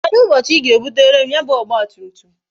Kedụ ụbọchị I ga ebutere m ya bu ọgba tum tum?